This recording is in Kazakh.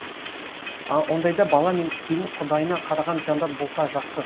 ондайда бала мен келін құдайына қараған жандар болса жақсы